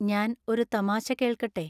ഞാൻ ഒരു തമാശ കേൾക്കട്ടെ